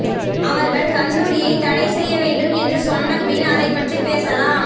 அவர்கள் கந்தூரியை தடை செய்ய வேண்டும் என்று சொன்ன பின் அதை பற்றி பேசலாம்